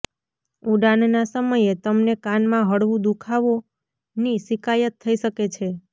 ઉડાનના સમયે તમને કાનમાં હળવું દુખાવોની શિકાયત થઈ શકે છે